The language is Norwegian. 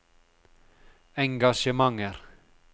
engasjementer